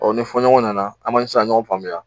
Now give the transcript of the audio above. Ɔ ni fɔ ɲɔgɔn nana?, a ma se ka ɲɔgɔn faamuya.